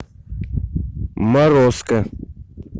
морозко